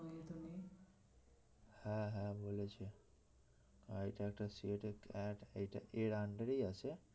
হ্যাঁ হ্যাঁ বলেছে আর এটা একটা CAT এইটা এর under এই আছে